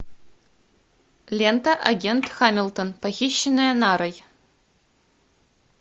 лента агент хамилтон похищенная нарой